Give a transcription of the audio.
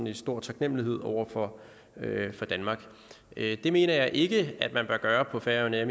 i stor taknemmelighed over for for danmark det mener jeg ikke at man bør gøre på færøerne